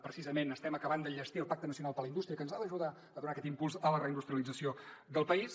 precisament estem acabant d’enllestir el pacte nacional per a la indústria que ens ha d’ajudar a donar aquest impuls a la reindustrialització del país